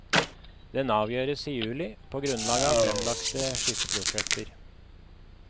Den avgjøres i juli, på grunnlag av fremlagte skisseprosjekter.